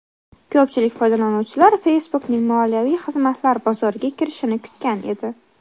Ko‘pchilik foydalanuvchilar Facebook’ning moliyaviy xizmatlar bozoriga kirishini kutgan edi.